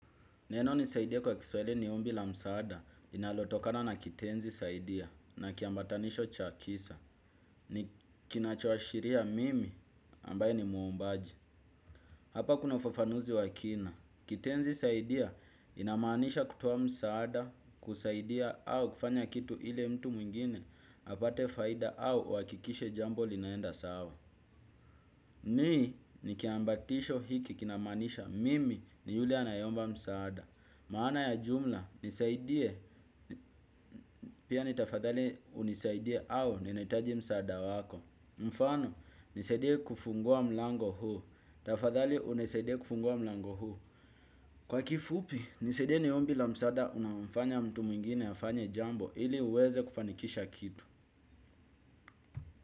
Neno nisaidie kwa kiswahi ni ombi la msaada inalotokana na kitenzi saidia na kiambatanisho cha kisa. Ni kinachoashiria mimi, ambaye ni muombaji. Hapa kuna ufafanuzi wa kina. Kitenzi saidia inamaanisha kutoa msaada, kusaidia au kufanya kitu ile mtu mwingine apate faida au uhakikishe jambo linaenda sawa. Ni, ni kiambatisho hiki kinamaanisha mimi ni yule anayeomba msaada. Maana ya jumla, nisaidie, pia ni tafadhali unisaidie au ninahitaji msaada wako. Mfano, nisaidie kufungua mlango huu, tafadhali unisaidie kufungua mlango huu. Kwa kifupi, nisaidie ni ombi la msaada unaomfanya mtu mwingine afanye jambo ili uweze kufanikisha kitu.